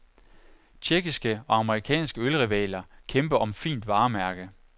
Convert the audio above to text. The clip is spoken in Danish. Tjekkiske og amerikanske ølrivaler kæmper om fint varemærke.